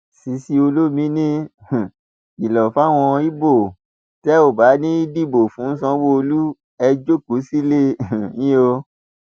cc olomini um kìlọ fáwọn ibo l tẹ ò bá ti ní í dìbò fún sanwóolú ẹ jókòó sílé um yín o